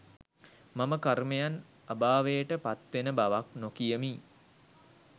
මම කර්මයන් අභාවයට පත්වෙන බවක් නොකියමි.